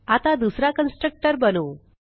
आता दुसरा कन्स्ट्रक्टर बनवू